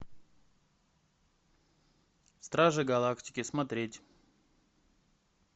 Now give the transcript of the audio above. стражи галактики смотреть